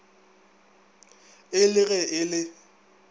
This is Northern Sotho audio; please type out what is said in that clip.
e le ge e le